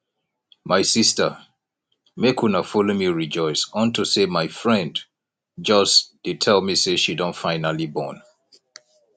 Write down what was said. my sister make una follow me rejoice unto say my friend just dey tell me say she don finally born